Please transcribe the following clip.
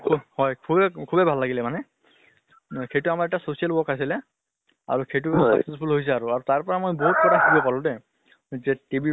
হয় সুবে সুবে ভাল লাগিলে মানে। না সেইটো আমাৰ এটা social work আছিলে। আৰু সেইটো successful হৈছে আৰু তাৰ পৰা মই বহুত কথা শিকিব পালো দে যে TB বেমাৰ